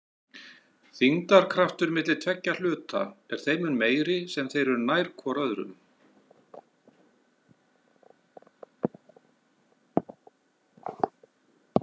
Þyngdarkraftur milli tveggja hluta er þeim mun meiri sem þeir eru nær hvor öðrum.